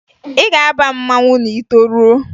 Ị ga-aba mmanwụ ma ị toruo!